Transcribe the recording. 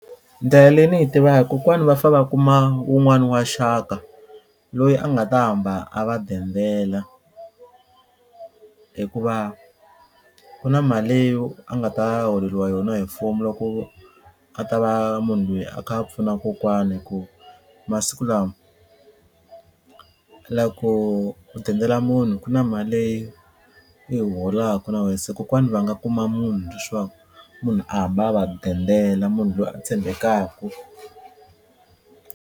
Ndlela leyi ni yi tivaka kokwani va fa va kuma wun'wani wa xaka loyi a nga ta hamba a va dendela hikuva ku na mali leyi a nga ta holeriwa yona hi mfumo loko a ta va munhu loyi a kha a pfuna kokwani hi ku masiku lawa loko u dendela munhu ku na mali leyi u yi holaka na wena se kokwana va nga kuma munhu leswaku munhu a hamba a va dendela munhu loyi a tshembekaku.